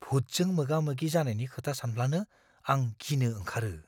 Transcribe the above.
भुतजों मोगा-मोगि जानायनि खोथा सानब्लानो आं गिनो ओंखारो।